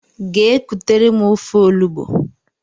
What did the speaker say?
Gee kutere m ofe ọnụgbu!!!!